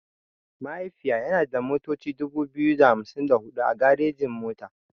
Mahaifiya yana da motoci dubu biyu da hamsin da huɗu a garejin mota.